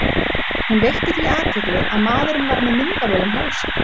Hún veitti því athygli að maðurinn var með myndavél um hálsinn.